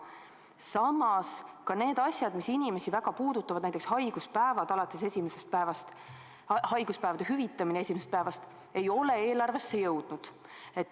Samas ka need asjad, mis inimesi väga puudutavad, näiteks haiguspäevade hüvitamine esimesest päevast, ei ole eelarvesse jõudnud.